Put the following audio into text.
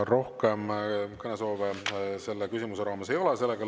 Rohkem kõnesoove selle raames ei ole.